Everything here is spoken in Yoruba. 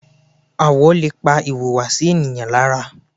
Àwọ̀ lè pa ìhùwàsí ènìyàn lára.